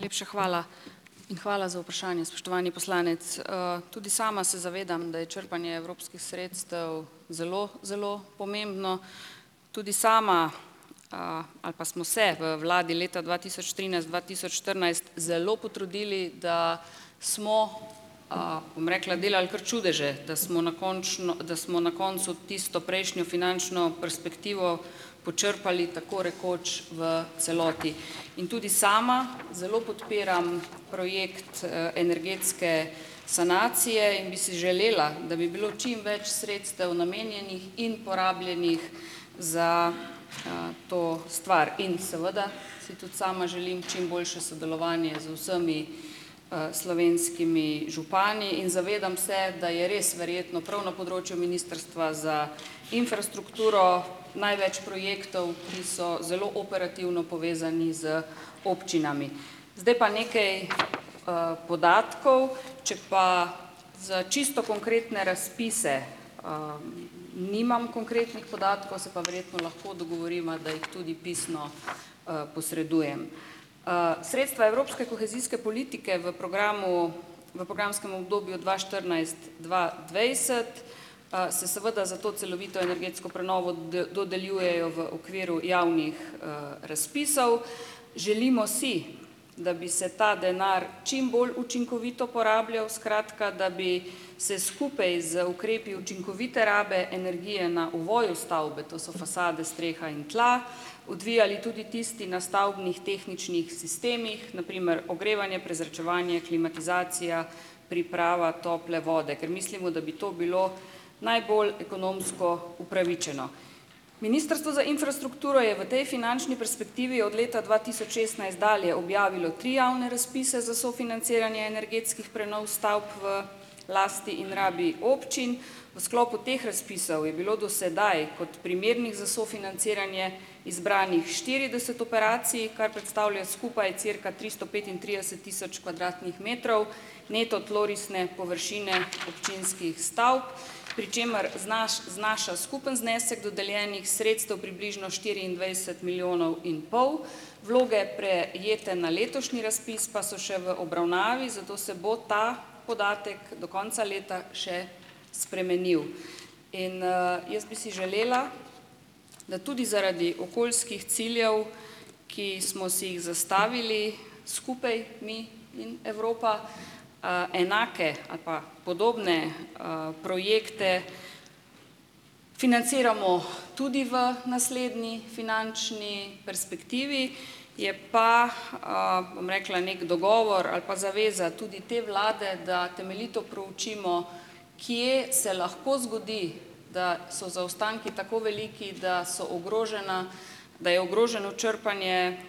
Lepša hvala in hvala za vprašanja, spoštovani poslanec Tudi sama se zavedam, da je črpanje evropskih sredstev zelo zelo pomembno. Tudi sama ali pa smo se v vladi leta dva tisoč trinajst, dva tisoč štirinajst zelo potrudili, da smo, bom rekla, delali kar čudeže, da smo na končno da smo na koncu tisto prejšnjo finančno perspektivo počrpali tako rekoč v celoti. In tudi sama zelo podpiram projekt energetske sanacije in bi si želela, da bi bilo čim več sredstev namenjenih in porabljenih za to stvar. In seveda si tudi sama želim čim boljše sodelovanje z vsemi slovenskimi župani in zavedam se, da je res verjetno prav na področju ministrstva za infrastrukturo največ projektov, ki so zelo operativno povezani z občinami. Zdaj pa nekaj podatkov. Če pa za čisto konkretne razpise nimam konkretnih podatkov, se pa verjetno lahko dogovoriva, da jih tudi pisno posredujem. Sredstva evropske kohezijske politike v programu v programskem obdobju dva štirinajst dva dvajset se seveda za to celovito energetsko prenovo dodeljujejo v okviru javnih razpisov. Želimo si, da bi se ta denar čim bolj učinkovito porabljal, skratka da bi se skupaj z ukrepi učinkovite rabe energije na ovoju stavbe, to so fasade, streha in tla, odvijali tudi tisti na stavbnih tehničnih sistemih, na primer ogrevanje, prezračevanje, klimatizacija, priprava tople vode, ker mislimo, da bi to bilo najbolj ekonomsko upravičeno. Ministrstvo za infrastrukturo je v tej finančni perspektivi od leta dva tisoč šestnajst dalje objavilo tri javne razpise za sofinanciranje energetskih prenov stavb v lasti in rabi občin. V sklopu teh razpisov je bilo do sedaj kot primernih za sofinanciranje izbranih štirideset operacij, kar predstavlja skupaj cirka tristo petintrideset tisoč kvadratnih metrov neto tlorisne površine občinskih stavb, pri čemer znaša skupni znesek dodeljenih sredstev približno štiriindvajset milijonov in pol. Vloge, prejete na letošnji razpis, pa so še v obravnavi, zato se bo ta podatek do konca leta še spremenil. In jaz bi si želela, da tudi zaradi okoljskih ciljev, ki smo si jih zastavili skupaj mi in Evropa, enake ali pa podobne projekte financiramo tudi v naslednji finančni perspektivi. Je pa, bom rekla, neki dogovor ali pa zaveza tudi te vlade, da temeljito proučimo, kje se lahko zgodi, da so zaostanki tako veliki, da so ogrožena da je ogroženo črpanje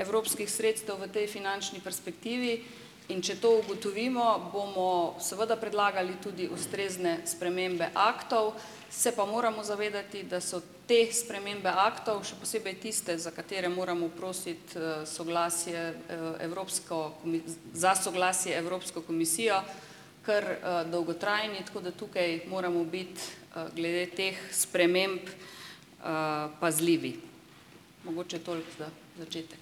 evropskih sredstev v tej finančni perspektivi. In če to ugotovimo, bomo seveda predlagali tudi ustrezne spremembe aktov. Se pa moramo zavedati, da so te spremembe aktov, še posebej tiste, za katere moramo prositi soglasje evropsko za soglasje Evropsko komisijo, kar dolgotrajni. Tako da tukaj moramo biti glede teh sprememb pazljivi. Mogoče toliko za začetek.